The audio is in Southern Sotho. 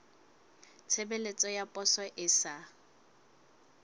tshebeletso ya poso e sa